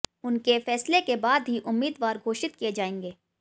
उनके फैसले के बाद ही उम्मीदवार घोषित किए जाएंगे